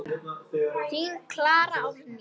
Þín Klara Árný.